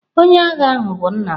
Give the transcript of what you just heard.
Onye agha ahụ bụ nna m.